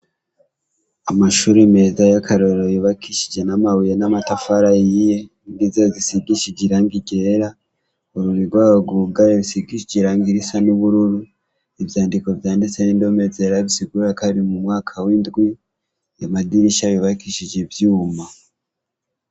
Amashuri meza y'akarorero yubakishije n'amabuye n'amatafari ahiye, idirisha zisigishije irangi ryera urugi rwaho rwugaye rusigishije irangi risa n'ubururu, ivyandiko vyanditse n'indome zera bisigura ko ari mu mwaka w'indwi ayo madirisha yubakishije ivyuma.